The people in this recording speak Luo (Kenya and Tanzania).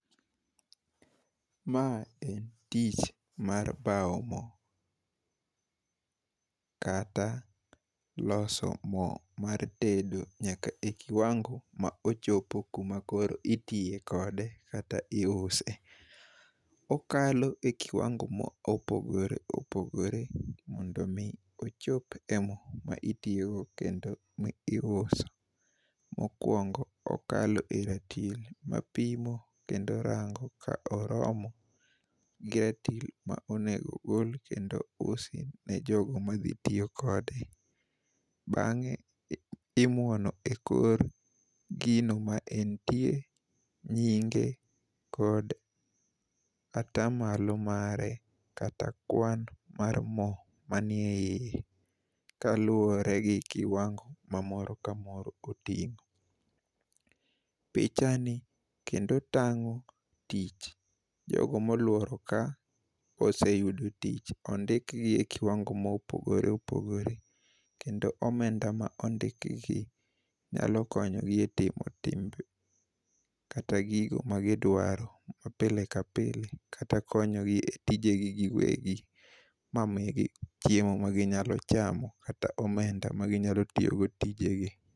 Ma en tich mar bao mo, kata loso mo mar tedo, nyaka e kiwango ma ochopo kama koro itiyo kode kata iuse. Okalo e kiwango ma opogore opogore, mondo omi ochop e mo ma itiyogo kendo ma iuso. Mokwongo okalo e ratil mapimo kendo rango ka oromo gi ratil ma onego gol kendo usi ne jogo ma dhi tiyo kode. Bangé imwono e kor gino ma en tie nyinge, kod atamalo mare, kata kwan mar mo manie iye, kaluwore gi kiwango ma moro ka moro otingó. pichani kendo tangó tich. Jogo ma olworo ka oseyudo tich. Ondikgi e kiwango ma opogore opogore, kendo omenda ma ondikgi, nyalo konyo gi e timo, kata gigo ma gidwaro ma pile ka pile, kata konyo gi e tije gi giwegi. Ma migi chiemo ma ginyalo chamo, kata omenda ma ginyalo tiyogo tijegi.